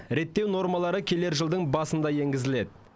реттеу нормалары келер жылдың басында енгізіледі